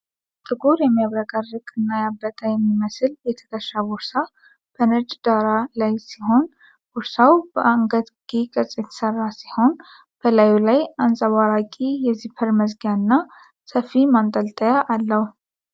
ጥቁር፣ የሚያብረቀርቅ እና ያበጠ የሚመስል የትከሻ ቦርሳ ከነጭ ዳራ ላይ ሲሆን ርሳው በአንገትጌ ቅርጽ የተሠራ ሲሆን፣ በላዩ ላይ አንጸባራቂ የዚፐር መዝጊያ እና ሰፊ ማንጠልጠያ አለው።